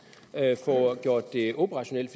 får gjort det operationelt